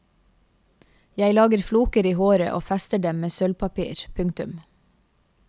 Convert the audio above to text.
Jeg lager floker i håret og fester dem med sølvpapir. punktum